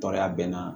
Tɔɔrɔya bɛ n na